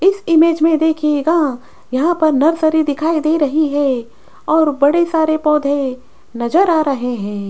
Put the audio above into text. इस इमेज में देखिएगा यहाँ पर नर्सरी दिखाई दे रही है और बड़े सारे पौधे नजर आ रहे हैं।